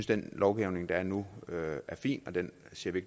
den lovgivning der er nu er fin og den ser vi